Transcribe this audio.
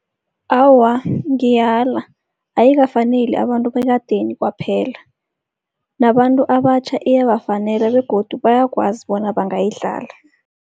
Awa, ngiyala ayikafaneli abantu bekadeni kwaphela. Nabantu abatjha iyabafanela begodu bayakwazi bona bangayidlala.